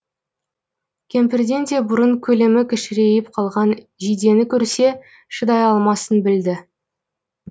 кемпірден де бұрын көлемі кішірейіп қалған жидені көрсе шыдай алмасын білді